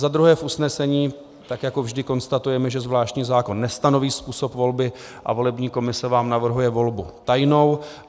Za druhé, v usnesení tak jako vždy konstatujeme, že zvláštní zákon nestanoví způsob volby a volební komise vám navrhuje volbu tajnou.